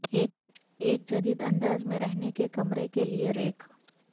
ایک جدید انداز میں رہنے کے کمرے کے لئے ریک